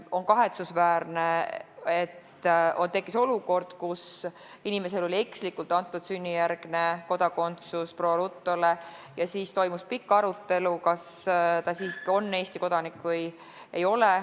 On kahetsusväärne, et on tekkinud olukord, kus inimesele oli ekslikult antud sünnijärgne kodakondsus ja siis toimus pikk arutelu, kas ta siiski on Eesti kodanik või ei ole.